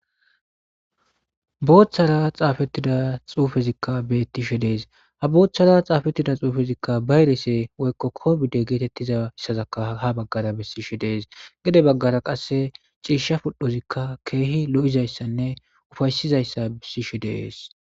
booththara xaafettida xuufezikka bettishe dees ha booththara xaafettida xuufezikka bayrese woykko ko bidde geetettiza yssazaka ha baggara bessishe dees gede baggara qasse ciisha pudhozikka keehi lo7izayssanne ufaysizayssa bissishe deees